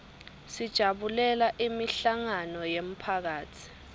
sijabulela imihlangano yemphakatsi